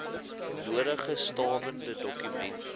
nodige stawende dokumente